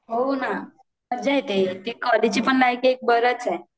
हो ना मज्जा येते कॉलेज ची पण लाइफ एक बरंच आहे